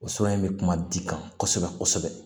O sɛbɛn in bɛ kuma di ka kosɛbɛ kosɛbɛ